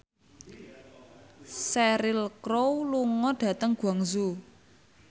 Cheryl Crow lunga dhateng Guangzhou